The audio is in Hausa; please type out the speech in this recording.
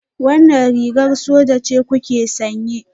Wannan rigar soja ce kuke sanye?